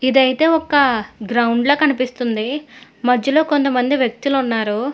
ఇదైతే ఒక్క గ్రౌండ్ల కనిపిస్తుంది మధ్యలో కొంతమంది వ్యక్తులు ఉన్నారు.